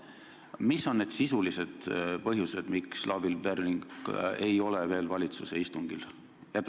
Mis on need sisulised põhjused, miks Lavly Perling ei ole veel valitsuse istungil käinud?